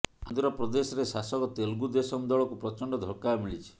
ଆନ୍ଧ୍ରପ୍ରଦେଶରେ ଶାସକ ତେଲୁଗୁ ଦେଶମ ଦଳକୁ ପ୍ରଚଣ୍ଡ ଧକ୍କା ମିଳିଛି